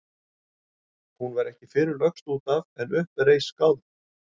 Hún var ekki fyrr lögst út af en upp reis skáld.